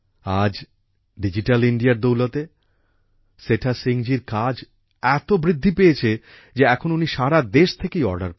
আজ ডিজিটাল ইন্ডিয়ার দৌলতে সেঠা সিং জি র কাজ এত বৃদ্ধি পেয়েছে যে এখন উনি সারা দেশ থেকেই অর্ডার পান